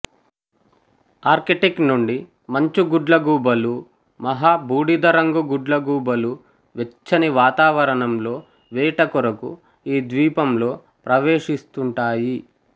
Arctic నుండి మంచు గుడ్లగూబలు మహా బూడిదరంగు గుడ్లగూబలు వెచ్చని వాతావరణంలో వేట కొరకు ఈ ద్వీపంలో ప్రవేశిస్తుంటాయి